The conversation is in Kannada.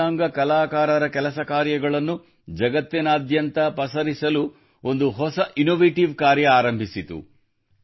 ದಿವ್ಯಾಂಗ ಕಲಾಕಾರರ ಕಾರ್ಯಗಳನ್ನು ಜಗತ್ತಿನಾದ್ಯಂತ ಪಸರಿಸಲು ಒಂದು ಹೊಸ ಇನ್ನೋವೇಟಿವ್ ಕಾರ್ಯ ಆರಂಭಿಸಿತು